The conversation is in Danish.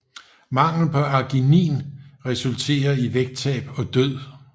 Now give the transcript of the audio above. Mangel på arginin resulterer i vægttab og død